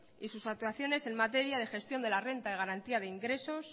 y sus actuaciones en materia de gestión de la renta de garantía de ingresos